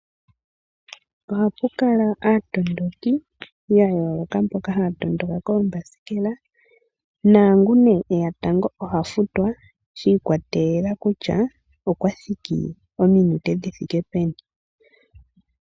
Ohapu kala aatondoki ya yoloka mboka haya tondoka koomasikela nangu ne eya tango oha futwa shi ikwatelela kutya okwa thiki mominute dhi thike peni.